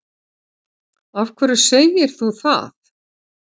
Af hverju segir þú það?